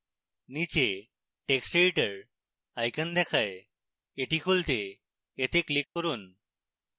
নীচে text editor icon দেখায় the খুলতে এতে click করুন